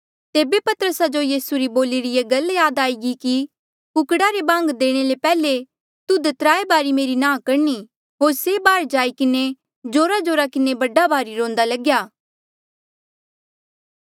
तेबे पतरसा जो यीसू री बोलिरी ये गल याद आई कि कुकड़ा रे बांग देणे ले पैहले तुध त्राय बारी मेरी नांह करणी होर से बाहर जाई किन्हें जोराजोरा किन्हें बड़ा भारी रोंदा लग्या